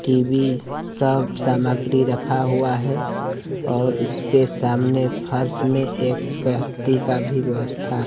TV सब सामग्री रखा हुआ है और इसके सामने फर्श में एक व्यक्ति का भी व्यवस्था--